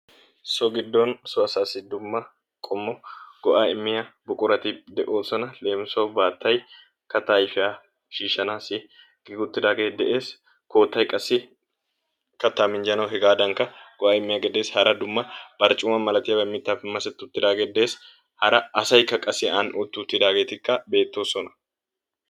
So giddo so asaassi dumma go'aa immiya buqurati de'oosona. Leemisuwassi baattay kattaa ayfiya shiishshanaassi giigiwuttidaagee de'ees, koottay qassi kattaa minjjanawu hegaadankka go'aa immiyagee de'ees, hara dumma barccuma. malatiya mittaappe masetti wuttidaagee dees, hara asaykka qassi aani utti wuttidaageeti beettoosona.